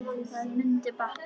Það mundi batna.